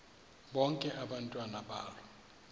bonke abantwana balo